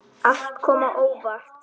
Allt kom á óvart.